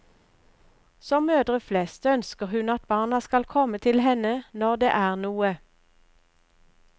Som mødre flest ønsker hun at barna skal komme til henne når det er noe.